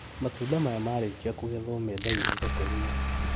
Matunda maya marĩkia kũgethwo mendagio thoko-inĩ